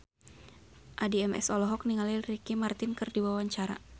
Addie MS olohok ningali Ricky Martin keur diwawancara